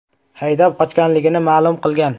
haydab qochganligini ma’lum qilgan.